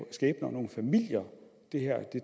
og nogle familier det her